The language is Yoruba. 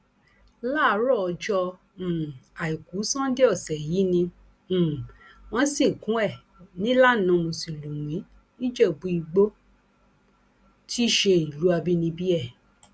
láàárọ ọjọ um àìkú sannde ọsẹ yìí ni um wọn sìnkú ẹ nílànà mùsùlùmí nìjẹbúìgbò tí í ṣe ìlú àbínibí ẹ